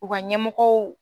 U ka ɲɛmɔgɔw